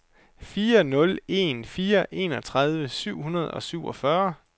fire nul en fire enogtredive syv hundrede og syvogfyrre